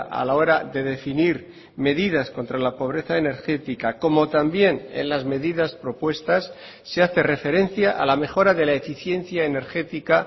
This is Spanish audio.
a la hora de definir medidas contra la pobreza energética como también en las medidas propuestas se hace referencia a la mejora de la eficiencia energética